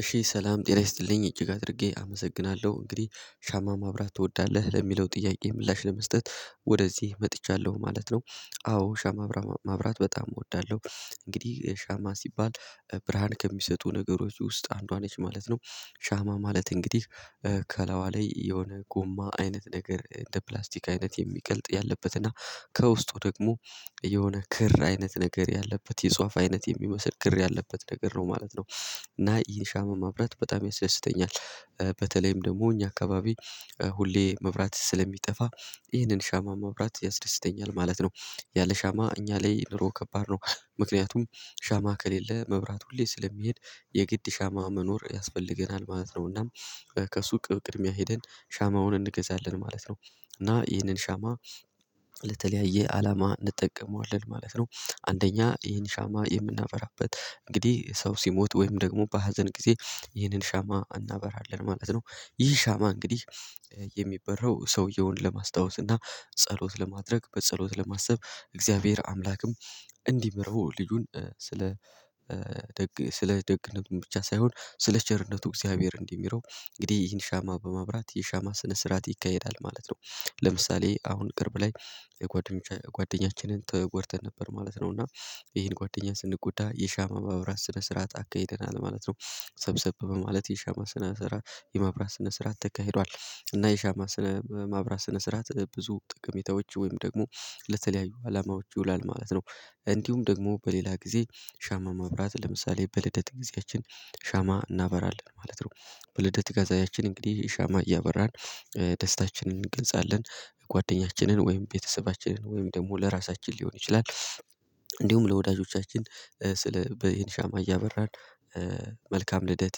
እሺ ሰላም ጤና ይስጥልኝ እጅግ አድርጌ አመሰግናለሁ እንግዲህ ሻማ ማብራት ትወዳለህ ለሚለው ጥያቄ ምላሽ ለመስጠት ወደዚህ መጥቻለሁ ማለት ነው። አዎ ሻማ ማብራት በጣም እወዳለሁ። እንግዲህ ሻማ ሲባል ብርሃን ከሚሰጡ ነገሮች ውስጥ አንዷ ነች ማለት ነው። ሻማ ማለት እንግዲህ ከላይዋ ላይ የሆነ ጎማ አይነት ነገር እንደ ፕላስቲክ አይነት የሚቀልጥ ያለበት እና ከውስጡ ደግሞ የሆነ ክር አይነት ነገር ያለበት የጽዋፍ አይነት የሚመስል ክር ያለበት ነገር ነው ማለት ነው። እና ይህ ሻማ ማብራት በጣም ያስደስተኛል። በተለይም ደግሞ እኛ አካባቢ ሁሌ መብራት ስለሚጠፋ ይህንን ሻማ ማብራት ያስደስተኛል ማለት ነው። ያለ ሻማ እኛ ላይ ኑሮ ከባድ ነው። ምክንያቱም ሻማ ከሌለ መብራት ሁሌ ስለሚሄድ የግድ ሻማ መኖር ያስፈልገናል ማለት ነውና። ከሱቅ ቅድሚያ ሄደን ሻማውን እንገዛለን ማለት ነው። እና ይህንን ሻማ ለተለያየ አላማ እንጠቀመዋለን ማለት ነው። አንደኛ ይህን ሻማ የምናበራበት እንግዲህ ሰው ሲሞት ወይም ደግሞ በሀዘን ጊዜ ይህንን ሻማ እናበራለን ማለት ነው። ይህ ሻማ እንግዲህ የሚበራው ሰውየውን ለማስታወስ እና ጸሎት ለማድረግ በጸሎት ለማሰብ እግዚአብሔር አምላክም እንዲሚረው ልጁን ስለ ደግ ስለ ደግ ልቡም ብቻ ሳይሆን ስለ ቸርነቱ እግዚአብሔር እንዲምረው እንግዲህ ይህን ሻማ በማብራት የሻማ ስነ ስርዓት ይካሄዳል ማለት ነው። ለምሳሌ አሁን ቅርብ ላይ የጓደኞቻች ጓደኛችንን ተጎድተን ነበር ማለት ነው እና ይሄን ጓደኛ ስንጎዳ የሻማ ማብራት ስነ ስራት አካሂደናል ማለት ነው። ሰብሰብ በማለት የሻማ ስነ ስራት የማብራት ስነ ስራት ተካሂዷል እና የሻማ ስነ ማብራት ስነ ስራት ብዙ ጠቀሜታዎች ወይም ደግሞ ለተለያዩ አላማዎች ይውላል ማለት ነው። እንዲሁም ደግሞ በሌላ ጊዜ ሻማ ማብራት ለምሳሌ በልደት ጊዜያችን ሻማ እናበራለን ማለት ነው። በልደት ጋዜያችን እንግዲህ ሻማ እያበራን ደስታችንን እንገድጻለን ጓደኛችንን ወይም ቤተሰባችንን ወይም ደግሞ ለራሳችን ሊሆን ይችላል። እንዲሁም ለወዳጆቻችን ስለ በ ይሄን ሻማ እያበራን መልካም ልደት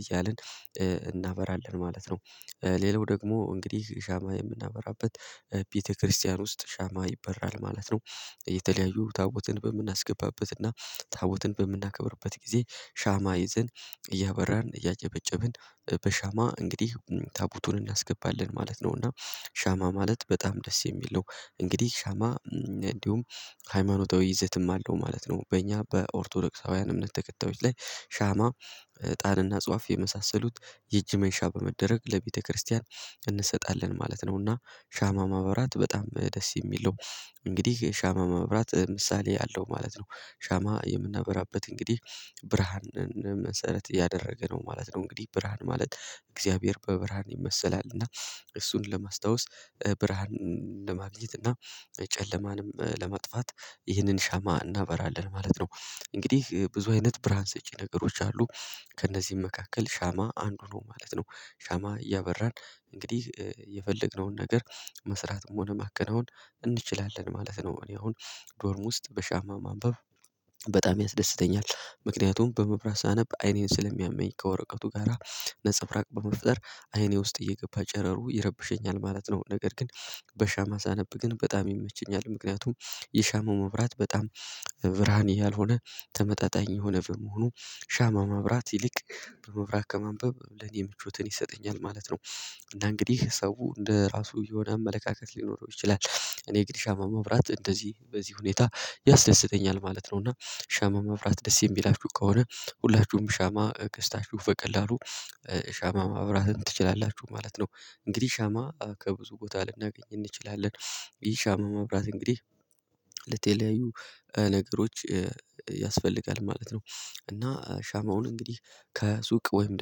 እያልን እናበራለን ማለት ነው። ሌላው ደግሞ እንግዲህ ሻማ የምናበራበት ቤተክርስቲያን ውስጥ ሻማ ይበራል ማለት ነው። የተለያዩ ታቦትን በምናስገባበትና ታቦትን በምናከብርበት ጊዜ ሻማ ይዘን እያበራን እያጨበጨብን በሻማ እንግዲህ ታቦቱን እናስገባለን ማለት ነው እና ሻማ ማለት በጣም ደስ የሚል ነው። እንግዲህ ሻማ እንዲሁም ሃይማኖታዊ ይዘትም አለው ማለት ነው በእኛ በኦርቶዶክሳውያን እምነት ተከታዮች ላይ ሻማ ዕጣንና ጽዋፍ የመሳሰሉት የእጅ መንሻ በመደረግ ለቤተክርስቲያን እንሰጣለን ማለት ነውና ሻማ ማብራት በጣም ደስ የሚለው እንግዲህ ሻማ ማብራት ምሳሌ አለው ማለት ነው። ሻማ የምናበራበት እንግዲህ ብርሃንን መሰረት ያደረገ ነው ማለት ነው እንግዲህ ብርሃን ማለት እግዚአብሔር በብርሃን ይመሰላል እና እሱን ለማስታወስ ብርሃንን ለማግኘት እና ጨለማንም ለማጥፋት ይህንን ሻማ እናበራለን ማለት ነው። እንግዲህ ብዙ አይነት ብርሃን ሰጪ ነገሮች አሉ ከእነዚህም መካከል ሻማ አንዱ ነው ማለት ነው። ሻማ እያበራን እንግዲህ የፈለግነውን ነገር መስራትም ሆነ ማከናወን እንችላለን ማለት ነው። እኔ አሁን ዶርም ውስጥ በሻማ ማንበብ በጣም ያስደስተኛል ምክንያቱም በመብራት ሳነብ አይኔን ስለሚያመኝ ከወረቀቱ ጋራ ነፀብራቅ በመፍጠር አይኔ ውስጥ እየገባ ጨረሩ ይረብሸኛል ማለት ነው። ነገር ግን በሻማ ሳነብ ግን በጣም ይመቸኛል ምክንያቱም የሻማ መብራት በጣም ብርሃን ያልሆነ ተመጣጣኝ የሆነ በመሆኑ ሻማ ማብራት ይልቅ በመብራት ከማንበብ ለኔ ምቾትን ይሰጠኛል ማለት ነው። እና እንግዲህ ሰው እንደ ራሱ የሆነ አመለካከት ሊኖረው ይችላል እኔ ግን ሻማ ማብራት እንደዚህ በዚህ ሁኔታ ያስደስተኛል ማለት ነው። እና ሻማ ማብራት ደስ የሚላችሁ ከሆነ ሁላችሁም ሻማ ገዝታችሁ በቀላሉ ሻማ ማብራትን ትችላላችሁ ማለት ነው። እንግዲህ ሻማ ከብዙ ቦታ ልናገኝ እንችላለን ይህ ሻማ ማብራት እንግዲህ ለተለያዩ ነገሮች ያስፈልጋል ማለት ነው። እና ሻማውን እንግዲህ ከሱቅ ወይም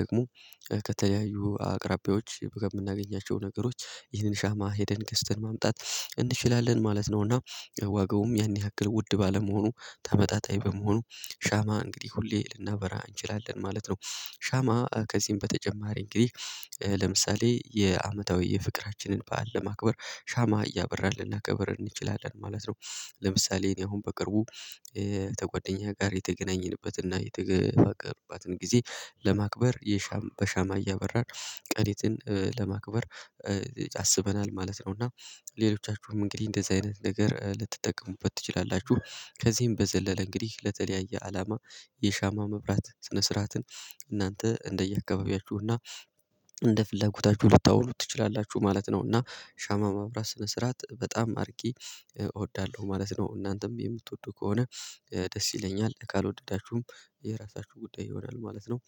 ደግሞ ከተለያዩ አቅራቢዎች በምናገኛቸው ነገሮች ይህንን ሻማ ሄደን ገዝተን ማምጣት እንችላለን ማለት ነውና። ዋጋውም ያን ያክል ውድ ባለመሆኑ ተመጣጣኝ በመሆኑ ሻማ እንግዲህ ሁሌ ልናበራ እንችላለን ማለት ነው። ሻማ ከዚህም በተጨማሪ እንግዲህ ለምሳሌ የአመታዊ የፍቅራችንን በዓል ለማክበር ሻማ እያበራን ልናከብር እንችላለን ማለት ነው። ለምሳሌ እኔ አሁን በቅርቡ ተጓደኛ ጋር የተገናኘንበትና የተገፋፈርባትን ጊዜ ለማክበር በሻማ እያበራን ቀኔትን ለማክበር አስበናል ማለት ነው። እና ሌሎቻችሁም እንግዲህ እንደዚህ አይነት ነገር ልትጠቀሙበት ትችላላችሁ ከዚህም በዘለለ እንግዲህ ለተለያየ አላማ የሻማ መብራት ስነ ስርዓትን እናንተ እንደየአካባቢያችሁና እንደ ፍላጎታችሁ ልታውሉት ትችላላችሁ ማለት ነው። እና ሻማ ማብራት ስነ ስርዓት በጣም አርጌ እወዳለሁ ማለት ነው። እናንተም የምትወዱ ከሆነ ደስ ይለኛል ካልወደዳችሁም የራሳችሁ ጉዳይ ይሆናል ማለት ነው።